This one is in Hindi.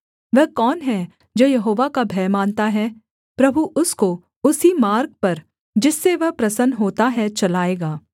वह कौन है जो यहोवा का भय मानता है प्रभु उसको उसी मार्ग पर जिससे वह प्रसन्न होता है चलाएगा